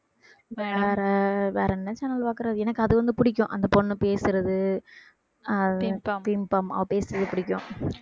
வேற வேற என்ன channel பாக்குறது எனக்கு அது வந்து பிடிக்கும் அந்த பொண்ணு பேசுறது ஆஹ் pimpom pimpom அப்டிங்கிறது பிடிக்கும்